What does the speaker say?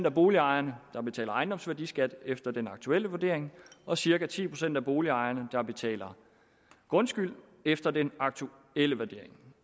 af boligejerne der betaler ejendomsværdiskat efter den aktuelle vurdering og cirka ti procent af boligejerne der betaler grundskyld efter den aktuelle vurdering